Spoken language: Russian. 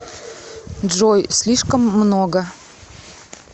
джой слишком много